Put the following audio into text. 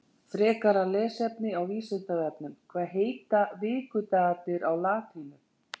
Frekara lesefni á Vísindavefnum Hvað heita vikudagarnir á latínu?